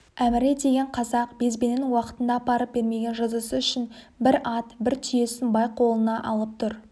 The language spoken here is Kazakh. әміре деген қазақ безбенін уақытында апарып бермеген жазасы үшін бір ат бір түйесін бай қолына алып тұр